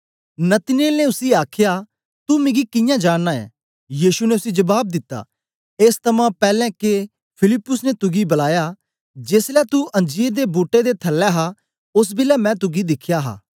नतनएल ने उसी आखया तू मिगी कियां जाननां ऐं यीशु ने उसी जबाब दिता एस थमां पैलैं के फिलिप्पुस ने तुगी बलाया जेसलै तू अंजीर दे बूट्टे दे थल्लै हा ओस बेलै मैं तुगी दिखया हा